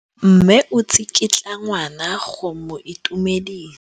Mme o tsikitla ngwana go mo itumedisa.